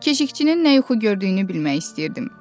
Keşikçinin nə yuxu gördüyünü bilmək istəyirdim.